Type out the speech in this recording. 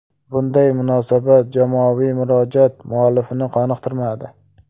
Bunday munosabat jamoaviy murojaat muallifini qoniqtirmadi.